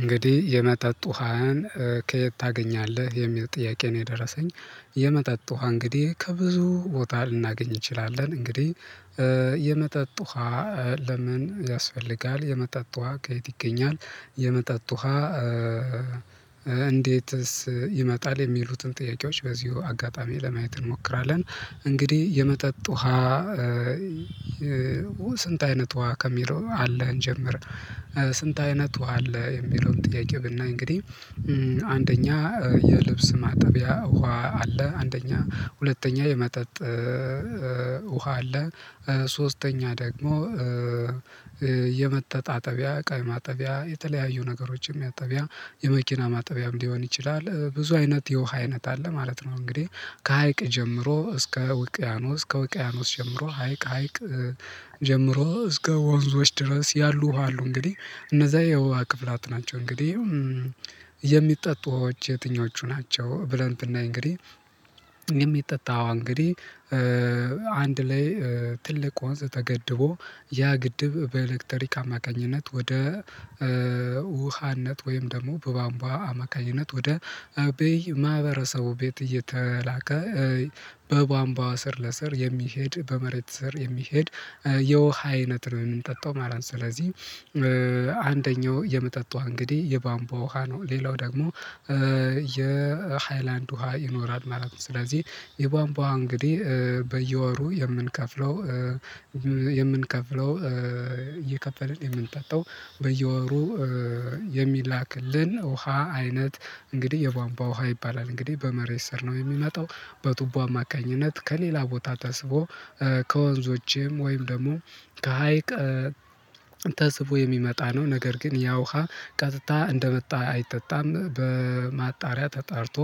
እንግዲህ የመጠጥ ውሃን ከየት ታገኛለህ የሚል ጥያቄ ነው? የደረሰኝ የመጠጥ ውሃ እንግዲህ ከብዙ ቦታ ልናገኝ እንችላለን። እንግዲህ የመጠጥ ውሃ። ለምን ያስፈልጋል የመጠጥ ውሃ ከየት ይገኛል? የመጠጥ ውሃ እንዴትስ ይመጣል የሚሉትን ጥያቄዎች በዚሁ አጋጣሚ ለማየት እንሞክራለን። እንግዲህ የመጠጥ ውሃ ስንት አይነት ውሃ ከሚለው አለ እንጀምር። ስንት አይነት ውሃ አለ? የሚለውን ጥያቄ ብናይ እንግዲህ አንደኛ የልብስ ማጠቢያ ውሃ አለ አንደኛ ሁለተኛ የመጠጥ ውሃ አለ። ሶስተኛ ደግሞ የመተጣጠቢያ እዋ የማጠቢያ የተለያዩ ነገሮችን ማጠቢያ የመኪና ማጠቢያም ሊሆን ይችላል ብዙ አይነት የውሃ አይነት አለ ማለት ነው። እንግዲህ ከሀይቅ ጀምሮ እስከ ውቅያኖስ ከውቅያኖስ ጀምሮ ሀይቅ ሀይቅ ጀምሮ እስከ ወንዞች ድረስ ያሉ ውሃ አሉ። እንግዲህ እነዛ የውሃ አካላት ናቸው። እንግዲህ የሚጠጡ ውሃዎች የትኞቹ ናቸው? ብለን ብናይ እንግዲህ የሚጠጣ ውሃ እንግዲህ አንድ ላይ ትልቅ ወንዝ ተገድቦ ያ ግድብ በኤሌክትሪክ አማካኝነት ወደ ውሃነት ወይም ደግሞ በባምቧ አማካኝነት ወደ በየ ማህበረሰቡ ቤት እየተላከ በቧንቧ ስር ለስር የሚሄድ በመሬት ስር የሚሄድ የውሃ አይነት ነው የምንጠጣው ማለት ነው። ስለዚህ አንደኛው የመጠጥ ውሃ እንግዲህ የቧንቧ ውሃ ነው። ሌላው ደግሞ የሃይላንድ ውሃ ይኖራል ማለት ነው። ስለዚህ የቧንቧ እንግዲህ በየወሩ የምንከፍለው የምንከፍለው እየከፈለን የምንጠጣው በየወሩ የሚላክልን ውሃ አይነት እንግዲህ የቧንቧ ውሃ ይባላል። እንግዲህ በመሬት ስር ነው የሚመጣው በቱቧ አማካኝነት ከሌላ ቦታ ተስቦ ከወንዞችም ወይም ደግሞ ከሀይቅ ተስቦ የሚመጣ ነው። ነገር ግን ያ ውሃ ቀጥታ እንደመጣ አይጠጣም በማጣሪያ ተጣርቶ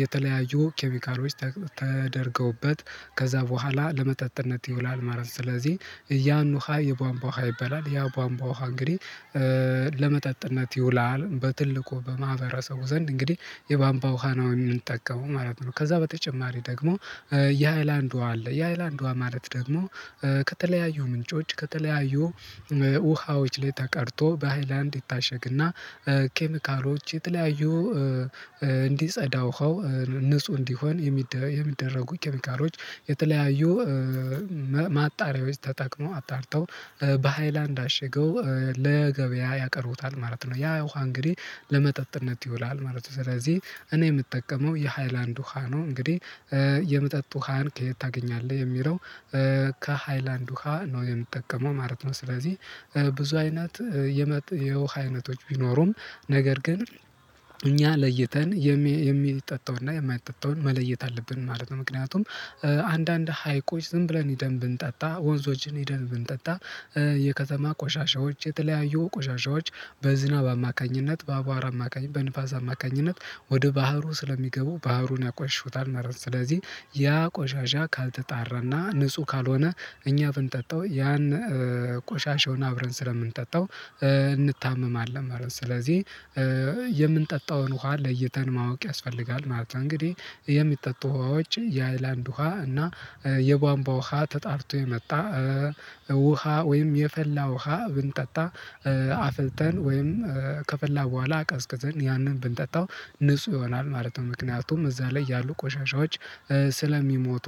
የተለያዩ ኬሚካሎች ተደርገውበት ከዛ በኋላ ለመጠጥነት ይውላል ማለት ነው። ስለዚህ ያን ውሃ የቧንቧ ውሃ ይበላል ያ ቧምቧ ውሃ እንግዲህ ለመጠጥነት ይውላል በትልቁ በማህበረሰቡ ዘንድ እንግዲህ የቧምቧ ውሃ ነው የሚጠቀመው ማለት ነው። ከዛ በተጨማሪ ደግሞ የሃይላንድ ውሃ አለ። የሃይላንድ ውሃ ማለት ደግሞ ከተለያዩ ምንጮች ከተለያዩ ውሃዎች ላይ ተቀድቶ በሃይላንድ ይታሸግና ኬሚካሎች የተለያዩ እንዲጸዳ ውሃው ንጹህ እንዲሆን የሚደረጉ ኬሚካሎች የተለያዩ ማጣሪያዎች ተጠቅመው አጣርተው በሃይላንድ አሸገው ለገበያ ያቀርቡታል ማለት ነው። ያ ውሃ እንግዲህ ለመጠጥነት ይውላል ማለት ነው። ስለዚህ እኔ የምጠቀመው የሃይላንድ ውሃ ነው እንግዲህ የመጠጥ ውሃን ከየት ታገኛለህ የሚለው ከሃይላንድ ውሃ ነው የምጠቀመው ማለት ነው። ስለዚህ ብዙ አይነት የውሃ አይነቶች ቢኖሩም ነገር ግን እኛ ለይተን የሚጠጣውንና የማይጠጣውን መለየት አለብን ማለት ነው። ምክንያቱም አንዳንድ ሀይቆች ዝም ብለን ሄደን ብንጠጣ ወንዞችን ሄደን ብንጠጣ የከተማ ቆሻሻዎች የተለያዩ ቆሻሻዎች በዝናብ አማካኝነት በአቧራ አማካኝነት በንፋስ አማካኝነት ወደ ባህሩ ስለሚገቡ ባህሩን ያቆሽሹታል ማለት ነው። ስለዚህ ያ ቆሻሻ ካልተጣራና ንጹህ ካልሆነ እኛ ብንጠጣው ያን ቆሻሻውን አብረን ስለምንጠጣው እንታመማለን ማለት ነው። ስለዚህ የምንጠጣውን ውሃ ለይተን ማወቅ ያስፈልጋል ማለት ነው። እንግዲህ የሚጠጡ ውሃዎች የአይላንድ ውሃ እና የቧንቧ ውሃ ተጣርቶ የመጣ ውሃ ወይም የፈላ ውሃ ብንጠጣ አፍልተን ወይም ከፈላ በኋላ አቀዝቅዘን ያንን ብንጠጣው ንጹህ ይሆናል ማለት ነው። ምክንያቱም እዛ ላይ ያሉ ቆሻሻዎች ስለሚሞቱ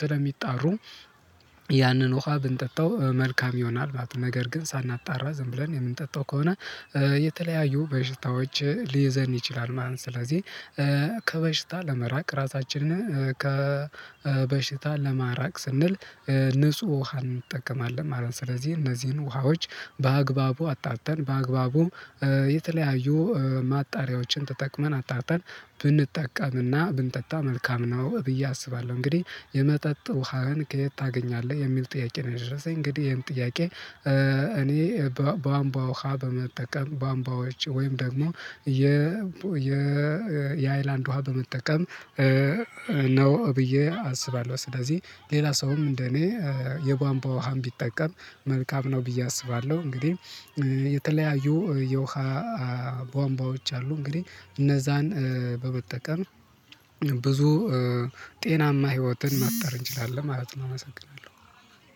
ስለሚጣሩ ያንን ውሃ ብንጠጣው መልካም ይሆናል ማለት ነው። ነገር ግን ሳናጣራ ዝም ብለን የምንጠጣው ከሆነ የተለያዩ በሽታዎች ሊይዘን ይችላል ማለት ነው። ስለዚህ ከበሽታ ለመራቅ ራሳችንን ከበሽታ ለማራቅ ስንል ንጹህ ውሃ እንጠቀማለን ማለት ነው። ስለዚህ እነዚህን ውሃዎች በአግባቡ አጣርተን በአግባቡም የተለያዩ ማጣሪያዎችን ተጠቅመን አጣርተን ብንጠቀምና ብንጠጣ መልካም ነው ብዬ አስባለሁ። እንግዲህ የመጠጥ ውሃን ከየት ታገኛለህ የሚል ጥያቄ ነው? የደረሰኝ እንግዲህ ይሄን ጥያቄ እኔ በቧንቧ ውሃ በመጠቀም ቧንቧዎች ወይም ደግሞ የ የ የ የ የ ሃይላንድ ውሃ በመጠቀም ነው ብዬ አስባለሁ። ስለዚህ ሌላ ሰውም እንደኔ የቧንቧ ውሃም ቢጠቀም መልካም ነው ብዬ አስባለሁ። እንግዲህ የተለያዩ የውሃ ቧንቧዎች አሉ እንግዲህ እነዛን በመጠቀም ብዙ ጤናማ ህይወትን መፍጠር እንችላለን ማለት ነው። አመሰግናለሁ